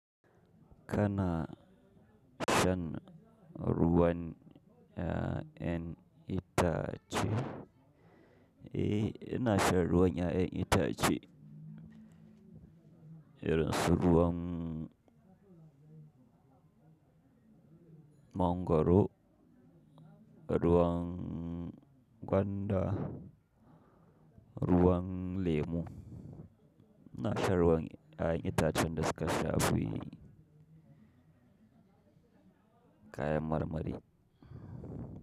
Kana shan ruwan 'ya'yan itace? Eh, ina shan ruwan 'ya'yan itace. Irin su ruwan mangwaro, ruwan gwanda, ruwan lemu. Ina shan ruwan 'ya'yan itacen da suka saba yi kayan marmari.